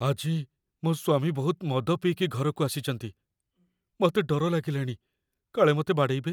ଆଜି ମୋ ସ୍ୱାମୀ ବହୁତ ମଦ ପିଇକି ଘରକୁ ଆସିଚନ୍ତି । ମତେ ଡର ଲାଗିଲାଣି, କାଳେ ମତେ ବାଡ଼େଇବେ ।